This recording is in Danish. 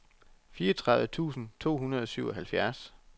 fireogtredive tusind to hundrede og syvoghalvfjerds